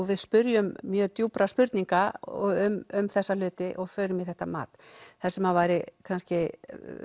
við spyrjum mjög djúpra spurninga um þessa hluti og förum í þetta mat það sem væri kannski